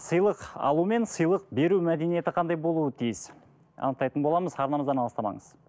сыйлық алу мен сыйлық беру мәдениеті қандай болуы тиіс анықтайтын боламыз арнамыздан алыстамаңыз